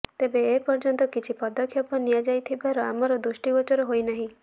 ତେବେ ଏ ପର୍ଯ୍ୟନ୍ତ କିଛି ପଦକ୍ଷେପ ନିଆଯାଇଥିବାର ଆମର ଦୃଷ୍ଟିଗୋଚର ହୋଇନାହିଁ